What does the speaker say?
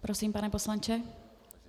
Prosím, pane poslanče.